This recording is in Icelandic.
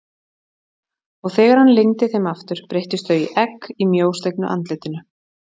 Og þegar hann lygndi þeim aftur breyttust þau í egg í mjóslegnu andlitinu.